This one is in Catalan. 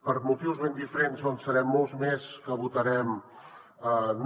per motius ben diferents doncs en serem molts més que votarem no